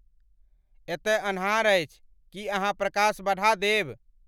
एतय अन्हार अछि ,की अहाँ प्रकाश बढ़ा देब?